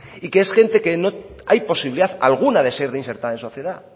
y que es gente que no hay posibilidad alguna de ser reinsertada en sociedad